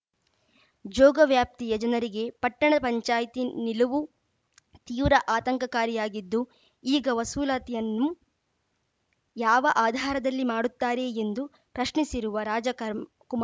ಜೋಗ ವ್ಯಾಪ್ತಿಯ ಜನರಿಗೆ ಪಟ್ಟಣ ಪಂಚಾಯ್ತಿ ನಿಲುವು ತೀವ್ರ ಆತಂಕಕಾರಿಯಾಗಿದ್ದು ಈಗ ವಸೂಲಾತಿಯನ್ನು ಯಾವ ಆಧಾರದಲ್ಲಿ ಮಾಡುತ್ತಾರೆ ಎಂದು ಪ್ರಶ್ನಿಸಿರುವ ರಾಜಕುರ್ಮಾ ಕುಮಾ